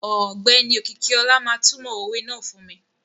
Ọgbẹni Okikiola ma tumo owè náà fun mi.